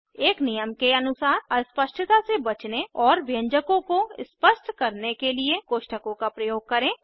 एक नियम के अनुसार अस्पष्टता से बचने और व्यंजकों को स्पष्ट करने के लिए कोष्ठकों का प्रयोग करें